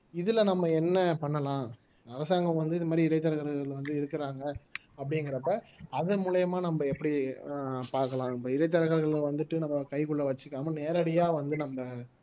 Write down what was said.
இதுல நம்ம என்ன பண்ணலாம் அரசாங்கம் வந்து இந்த மாதிரி இடைத்தரகர்கள் வந்து இருக்குறாங்க அப்படிங்கிறப்ப அதன் மூலியமா நம்ம எப்படி பார்க்கலாம் இப்ப இடைத்தரகர்கள் வந்துட்டு நம்ம கைக்குள்ள வச்சுக்காம நேரடியா வந்து நம்ம